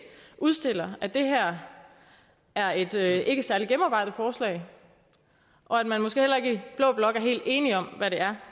udstiller at det her er et ikke særlig gennemarbejdet forslag og at man måske heller ikke i blå blok er helt enige om hvad det er